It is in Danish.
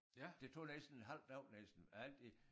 Det tog næsten en halv dag næsten og alt det